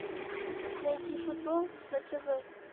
найди футбол на тв